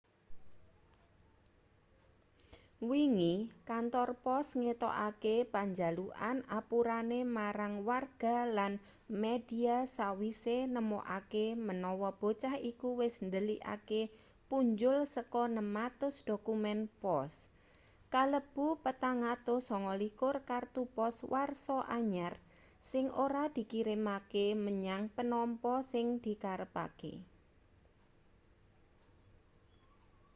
wingi kantor pos ngetokake panjalukan apurane marang warga lan media sawise nemokake menawa bocah iku wis ndhelikake punjul saka 600 dokumen pos kalebu 429 kartu pos warsa anyar sing ora dikirimake menyang penampa sing dikarepake